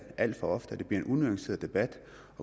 alt for ofte og det bliver en unuanceret debat